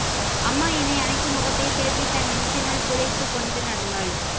அம்மா என்னை அணைத்து முகத்தைத் திருப்பி தன் நெஞ்சினுள் புதைத்துக்கொண்டு நடந்தாள்